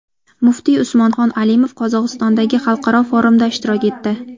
Muftiy Usmonxon Alimov Qozog‘istondagi xalqaro forumda ishtirok etdi.